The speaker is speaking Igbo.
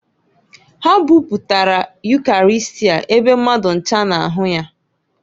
Ha buputara Ukarịstịa ebe mmadụ ncha na-ahụ ya.